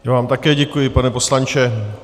Já vám také děkuji, pane poslanče.